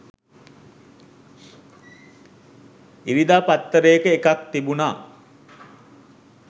ඉරිදා පත්තරේක එකක් තිබුණා